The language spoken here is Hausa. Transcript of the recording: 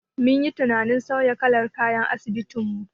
Mun yi tunanin sauya kalar kayan asibitin mu.